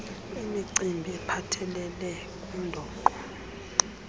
imicimbi ephathelele kundoqo